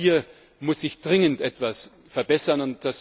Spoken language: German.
Hier muss sich dringend etwas verbessern.